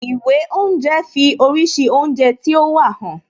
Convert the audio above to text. Ìwé oúnje fi oríṣi oúnjẹ tí ó wà hàn